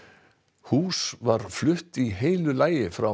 hús var flutt í heilu lagi frá